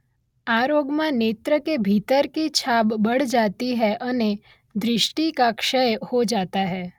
આ રોગમાં નેત્ર કે ભીતર કી છાબ બઢ઼ જાતી હૈ અને દૃષ્ટિ કા ક્ષય હો જાતા છે.